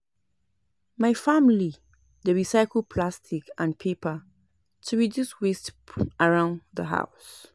My family dey recycle plastic and paper to reduce waste around the house.